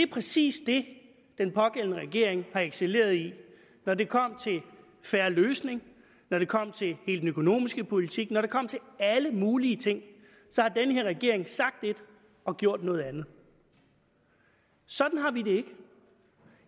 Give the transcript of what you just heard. præcis det den pågældende regering har excelleret i når det kom til fair løsning når det kom til hele den økonomiske politik når det kom til alle mulige ting så har den her regering sagt et og gjort noget andet sådan har vi det ikke